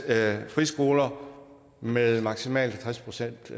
at friskoler med maksimalt halvtreds procent